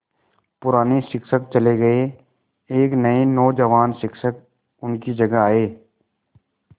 पुराने शिक्षक चले गये एक नये नौजवान शिक्षक उनकी जगह आये